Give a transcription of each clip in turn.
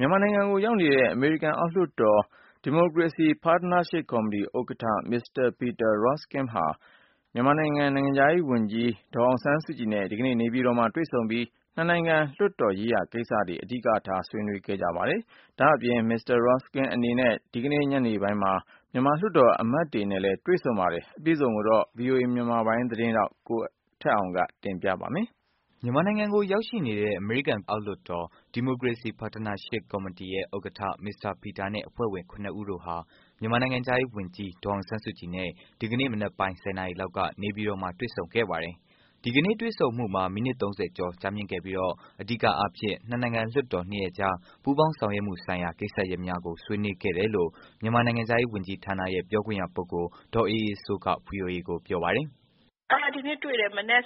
မြန်မာနိုင်ငံကို ရောက်နေတဲ့ အမေရိကန် အောက်လွတ်တော် Democracy Partnership Committee ဥက္ကဌ Mr. Peter Roskam ဟာ မြန်မာနိုင်ငံ နိုင်ငံခြားရေး ဝန်ကြီး ဒေါ်အောင်ဆန်းစုကြည်နဲ့ဒီကနေ့ နေပြည်တော်မှာ တွေ့ဆုံပြီး နှစ်နိုင်ငံ လွတ်တော် ရေးရာကိစ္စတွေကို အဓိကထား ဆွေးနွေးခဲ့ပါတယ်။ ဒါ့အပြင် Mr. Peter အနေနဲ့ ဒီကနေ့ ညနေပိုင်းမှာ မြန်မာလွှတ်တော်အမတ်တွေနဲ့တွေ့ဆုံမှာဖြစ်ပါတယ်။ အပြည့်အစုံကိုတော့ ဗွီအိုအေမြန်မာပိုင်းသတင်းထောက် ကိုထက်အောင်က ပြောပြပေးမှာပါ။ မြန်မာနိုင်ငံကို ရောက်ရှိနေတဲ့ အမေရိကန် အောက်လွတ်တော် Democracy Partnership Committee ဥက္ကဌ Mr. Peter နဲ့ အဖွဲ့ဝင် ၇ ဦးတို့ဟာ မြန်မာနိုင်ငံခြားရေး ဝန်ကြီး ဒေါ်အောင်ဆန်းစုကြည်နဲ့ ဒီကနေ့ မနက်ပိုင်း ၁၀ နာရီလောက်က နေပြည်တော်မှာ တွေ့ဆုံခဲ့ပါတယ်။ ဒီကနေ့ တွေ့ဆုံမှုမှာ မိနစ် ၃၀ ကျော် ကြာမြင့်ခဲ့ပြီး အဓိကအားဖြင့်တော့ နှစ်နိုင်ငံ လွှတ်တော် ၂ ရပ်ကြား ပူးပေါင်းဆောင်ရွက်မှုဆိုင်ရာ ကိစ္စရပ်များကို ဆွေးနွေးခဲ့ တယ်လို့ မြန်မာနိုင်ငံခြားရေး ဝန်ကြီးဌာနရဲ့ ပြောခွင့်ရ ပုဂ္ဂိုလ် ဒေါ်အေးအေးစိုးက ဗွီအိုအေကို ပြောပါတယ်။ “ဒီနေ့မနက် ၁၀ နာရီကတွေ့တယ်။ နိုင်ငံ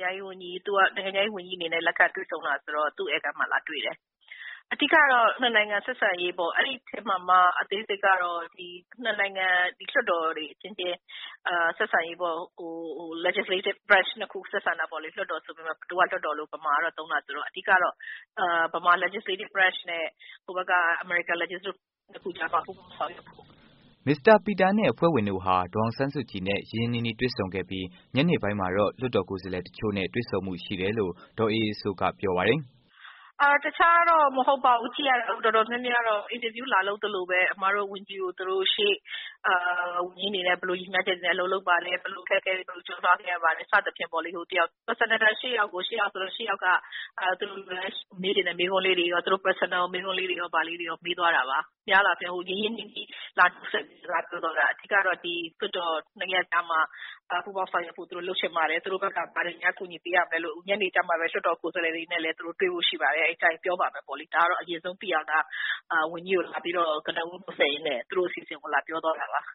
ခြားရေး ဝန်ကြီးအနေနဲ့ လက်ခံတွေ့ဆုံတာဆိုတော့ သူ့ ဧည့်ခန်းမှာလာတွေ့တယ်။ အဓိကတော့ ၂ နိုင်ငံ ဆက်ဆံရေးပေါ့ ။ အဲဒီမှာမှ အသေးစိတ်ကတော့ ၂ နိုင်ငံ လွှတ်တော်တွေအချင်းချင်း ဆက်ဆံရေး Legislative branch ၂ ခု ဆက်ဆံတာပေါ့လေ။ လွှတ်တော်ဆိုပေမယ့် မြန်မာက လွှတ်တော်လို့ သုံးတာဆိုတော့ အဓိကတော့ မြန်မာ Legislative branch နဲ့ ဟိုဘက်က အမေရိကန် Legislative တို့ ၂ ခုကြားမှာ ပူးပေါင်းဆောင်ရွက်ဖို့။” Mr. Peter နဲ့ အဖွဲ့ဝင်တို့ဟာ ဒေါ်အောင်ဆန်းစုကြည်နဲ့ ရင်းရင်းနှီးနှီးတွေ့ဆုံခဲ့ပြီး ညနေပိုင်းမှာတော့ လွှတ်တော် ကိုယ်စားလှယ် တစ်ချို့နဲ့ တွေ့ဆုံမှု ရှိတယ်လို့ ဒေါ်အေးအေးစိုးက ပြောပါတယ်။ “တခြားတော့ မဟုတ်ပါဘူး ကြည့်ရတာ တော်တော်များများကတော့ အင်တာဗျူးလာလုပ်သလိုပဲ ၊ အမတို့ ဝန်ကြီးကို သူတို့ရှေ့ ဝန်ကြီးအနေနဲ့ ဘယ်လို ရန်မှန်းချက်နဲ့ လုပ်မလဲ၊ အခက်အခဲကို ဘယ်လိုကျော်လွှားခဲ့ရသလဲ စသဖြင့်ပေါ့လေ။ ၈ ယောက်စလုံးက သူတို့မေးချင်တဲ့မေးခွန်းလေးတွေ ရောမေးသွားတာပါ။ သူတို့ရင်းရင်းနှီးနှီး လာပြီးစကားပြောသွားတာပါ။ အဓိကတော့ ဒီ လွှတ်တော် ၂ ရပ်ကြားမှာ ပူးပေါင်းဆောင်ရွက်မှုလေးတွေလုပ်ချင်ပါတယ်။ သူတို့ဘက်က ဘာတွေများကူညီပေးရမလဲ၊ နောက်ပြီး ညနေကျမှလည်း သူတို့ လွှတ်တော်ကိုယ်စားလှယ်တွေနဲ့လည်း တွေ့ဖို့ရှိပါတယ်။ အဲဒီကျရင်ပြောပါမယ်ပေါ့လေ။ ဒါကတော့ ဝန်ကြီးကို ကနဦးနှတ်ဆက်ရင်းနဲ့ သူတို့အစီအစဉ်ကို လာပြောသွားတာပါ။”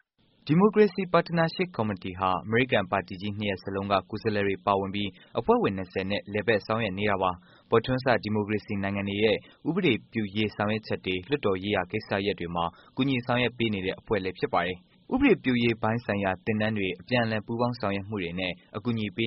Democracy Partnership Committee ဟာ အမေရိကန်ပါတီကြီးနှစ်ရပ်စလုံးက ကိုယ်စားလှယ်တွေပါဝင်ပြီး အဖွဲ့ဝင် ၂၀နဲ့ လည်ပတ်ဆောင်ရွက်နေတာပါ။ ပေါ်ထွန်းစ ဒီမိုကရေစီနိုင်ငံတွေရဲ့ ဥပဒေပြုရေးဆောင်ရွက်ချက်တွေ လွှတ်တော်ရေးရာကိစ္စတွေမှာ ကူညီဆောင်ရွက်ပေးနေတဲ့ အဖွဲ့လည်းဖြစ်ပါတယ်။ ဥပဒေပြုရေးပိုင်းဆိုင်ရာ သင်တန်းတွေ အပြန်အလှန်ပူးပေါင်းဆောင်ရွက်မှုတွေနဲ့ အကူအညီပေးနေ